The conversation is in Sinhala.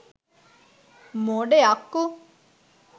මොඩ යක්කු.